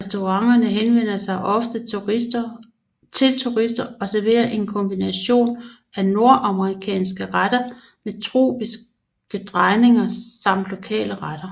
Restauranterne henvender sig ofte til turister og serverer en kombination af nordamerikanske retter med tropiske drejninger samt lokale retter